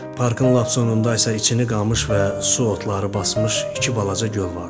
Parkın lap sonunda isə içini qamış və su otları basmış iki balaca göl vardı.